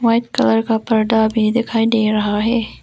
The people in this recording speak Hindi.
व्हाइट कलर का पर्दा भी दिखाई दे रहा है।